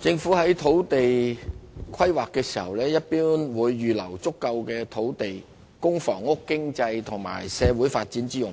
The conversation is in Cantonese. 政府在土地規劃時一般會預留足夠土地供房屋、經濟及社會發展之用，